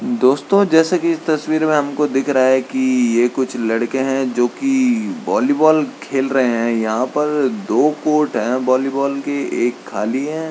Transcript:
दोस्तों जैसे की इस तस्वीर में हमको दिख रहा है की ये कुछ लड़के हैं जोकि वॉलीबॉल खेल रहे हैं यहाँ पर दो कोर्ट हैं वॉलीबॉल के एक खाली है --